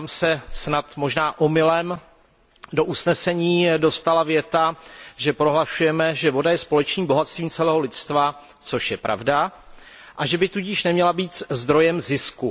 Nám se snad možná omylem do usnesení dostala věta, že prohlašujeme, že voda je společným bohatstvím celého lidstva, což je pravda, a že by tudíž neměla být zdrojem zisku.